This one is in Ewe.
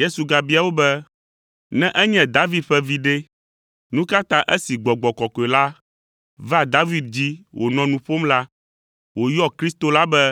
Yesu gabia wo be, “Ne enye David ƒe vi ɖe, nu ka ta esi Gbɔgbɔ Kɔkɔe la va David dzi wònɔ nu ƒom la, wòyɔ Kristo la be